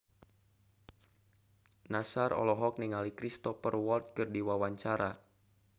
Nassar olohok ningali Cristhoper Waltz keur diwawancara